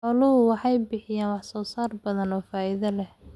Xooluhu waxay bixiyaan wax soo saar badan oo faa'iido leh.